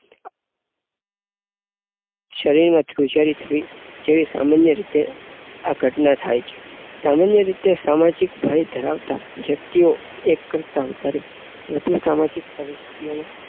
શરીરમાં ધ્રુજારી થવી જેવી સામાન્ય રીતે આ ઘટના થાય છે. સામાન્ય રીતે સામાજિક ભય ધરાવનાર વ્યક્તિઓ એક કરતાં વધારે વધુ સામાજિક પરિસ્થિતિ ઓનું